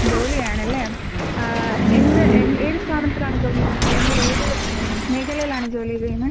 ജോലി ആണല്ലേ? ആഹ് എന്ത് ഏത് സ്ഥാപനത്തിലാണ് ജോലി ചെയ്യുന്നത് അല്ലെങ്കിൽ ഏത് മേഖലയിലാണ് ജോലി ചെയ്യുന്നേ?